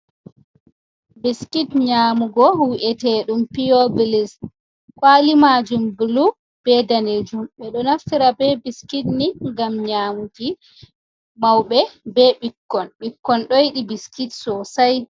Biskit nyamugo wu'eteɗum piyo bilis kwali majum bolu be danejum ɓe ɗo naftira be biskit ni ngam nyamuki mauɓe be ɓikkon. ɓikkon ɗoyidi biskit sosai.